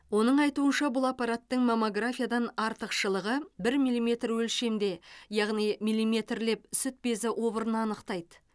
оның айтуынша бұл аппараттың маммографиядан артықшылығы бір миллиметр өлшемде яғни миллиметрлеп сүт безі обырын анықтайды